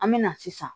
An me na sisan